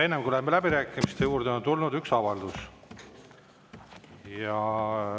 Enne kui läheme läbirääkimiste juurde, on tulnud üks avaldus.